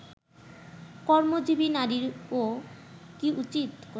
কর্মজীবী নারীরও কি উচিত